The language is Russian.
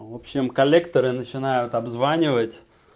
в общем коллекторы начинают обзванивать